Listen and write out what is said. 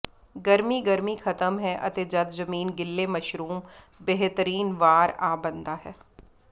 ਗਰਮੀ ਗਰਮੀ ਖਤਮ ਹੈ ਅਤੇ ਜਦ ਜ਼ਮੀਨ ਗਿੱਲੇ ਮਸ਼ਰੂਮ ਬੇਹਤਰੀਨ ਵਾਰ ਆ ਬਣਦਾ ਹੈ